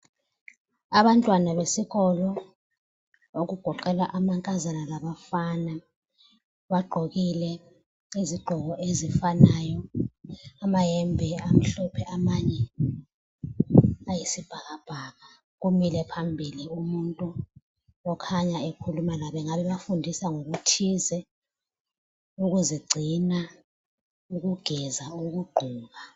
Abantwana besikolo okugoqela amankazana labafana, bagqokile izigqoko ezifanayo, amayembe amhlophe amanye ayi sibhakabhaka, kumile phambili umuntu okhanya ekhuluma labo engabe ebafundisa ngokuthize ukuzigcina, ukugeza, ukugqoka